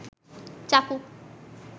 চাকু